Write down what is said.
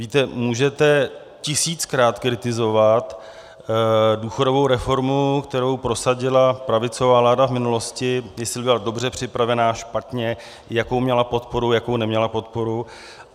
Víte, můžete tisíckrát kritizovat důchodovou reformu, kterou prosadila pravicová vláda v minulosti, jestli byla dobře připravená, špatně, jakou měla podporu, jakou neměla podporu.